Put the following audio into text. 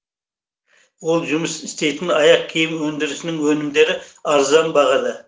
ол жұмыс істейтін аяқ киім өндірісінің өнімдері арзан бағада